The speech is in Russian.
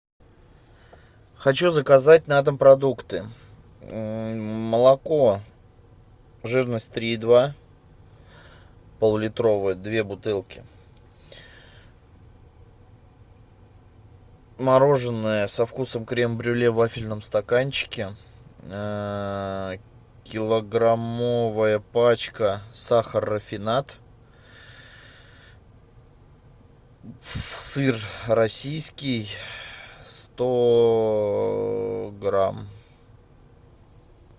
хочу заказать на дом продукты молоко жирность три и два пол литровое две бутылки мороженое со вкусом крем брюле в вафельном стаканчике килограммовая пачка сахар рафинад сыр российский сто грамм